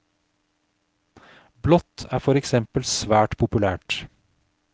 Blått er for eksempel svært populært.